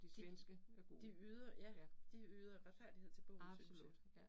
De, de yder ja, de yder retfærdighed til bogen synes jeg